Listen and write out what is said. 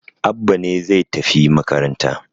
Abba ne zai tafi makaranta